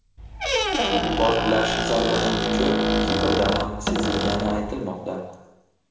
Portlash zarbining kuchi Kiprda ham sezilgani aytilmoqda.